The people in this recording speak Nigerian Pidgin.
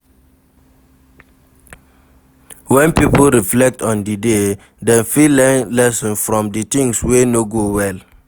When pipo reflect on di day dem fit learn lesson from di things wey no go well